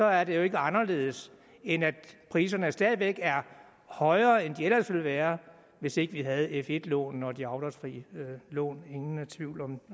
er det jo ikke anderledes end at priserne stadig væk er højere end de ellers ville være hvis ikke vi havde f1 lånene og de afdragsfrie lån ingen tvivl om